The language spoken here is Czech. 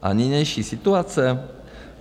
A nynější situace?